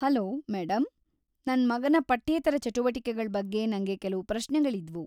Hello madam, ನನ್‌ ಮಗನ ಪಠ್ಯೇತರ ಚಟುವಟಿಕೆಗಳ್ ಬಗ್ಗೆ ನಂಗೆ ಕೆಲ್ವು ಪ್ರಶ್ನೆಗಳಿದ್ವು.